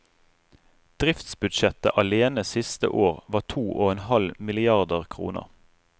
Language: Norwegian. Driftsbudsjettet alene siste år var to og en halv milliarder kroner.